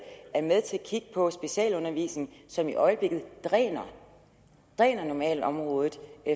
er med til at kigge på specialundervisningen som i øjeblikket dræner dræner normalområdet